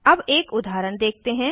अब एक उदाहरण देखते हैं